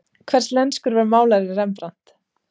Hverslenskur var málarinn Rembrant?